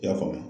I y'a faamu